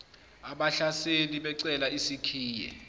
abahlaseli becela isikhiye